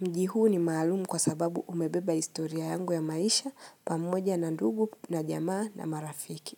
Mji huu ni maalumu kwa sababu umebeba historia yangu ya maisha pamoja na ndugu na jamaa na marafiki.